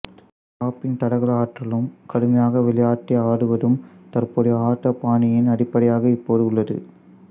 கிராப்பின் தடகள ஆற்றலும் கடுமையாக விளையாட்டை ஆடுவதும் தற்போதைய ஆட்ட பாணியின் அடிப்படையாக இப்போது உள்ளது